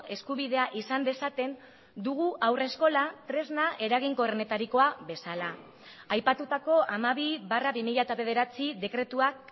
eskubidea izan dezaten dugu haurreskola tresna eraginkorrenetarikoa bezala aipatutako hamabi barra bi mila bederatzi dekretuak